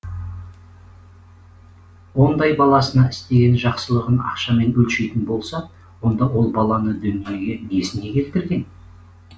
ондай баласына істеген жақсылығын ақшамен өлшейтін болса онда ол баланы дүниеге несіне келтірген